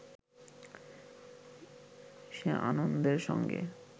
সে আনন্দের সঙ্গে